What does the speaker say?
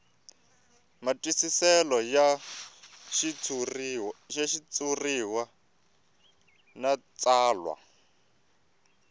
matwisiselo ya xitshuriwa na tsalwa